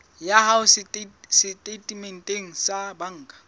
ya hao setatementeng sa banka